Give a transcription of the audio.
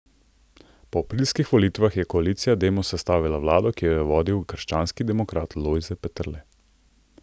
Po aprilskih volitvah je koalicija Demos sestavila vlado, ki jo je vodil krščanski demokrat Lojze Peterle.